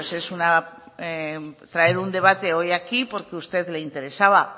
es una traer un debate hoy aquí porque a usted le interesaba